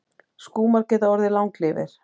Skúmar geta orðið langlífir.